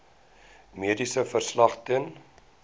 mediese verslag ten